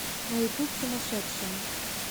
на ютуб сумасшедшая